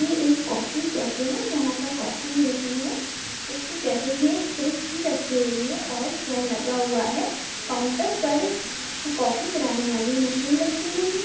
यह एक coffee cafe है जहां पर काफी मिलती है इसके कैफे में एक फ्रिज भी रखी हुई है और पेन लगा हुआ है काउंटर पर काफी बनाने वाली मशीन रखी हुई है|